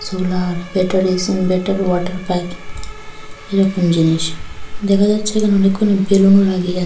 roller beater basin beater water pipe এরকম জিনিস দেখা যাচ্ছে এখানে অনেকগুনো বেলুন লাগিয়ার --